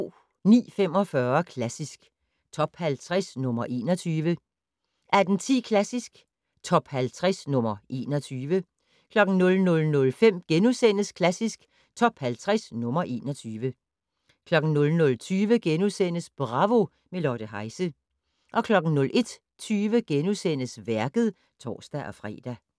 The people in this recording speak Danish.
09:45: Klassisk Top 50 - nr. 21 18:10: Klassisk Top 50 - nr. 21 00:05: Klassisk Top 50 - nr. 21 * 00:20: Bravo - med Lotte Heise * 01:20: Værket *(tor-fre)